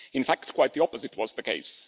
In fact, quite the opposite was the case.